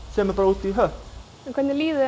sem er bara út í hött hvernig líður